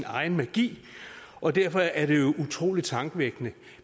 egen magi og derfor er det jo utrolig tankevækkende